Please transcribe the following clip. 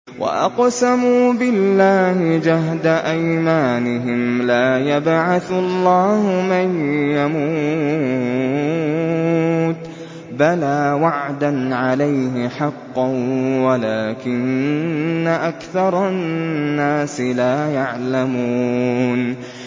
وَأَقْسَمُوا بِاللَّهِ جَهْدَ أَيْمَانِهِمْ ۙ لَا يَبْعَثُ اللَّهُ مَن يَمُوتُ ۚ بَلَىٰ وَعْدًا عَلَيْهِ حَقًّا وَلَٰكِنَّ أَكْثَرَ النَّاسِ لَا يَعْلَمُونَ